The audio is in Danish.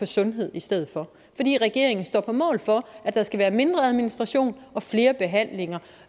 sundhed i stedet for fordi regeringen står på mål for at der skal være mindre administration og flere behandlinger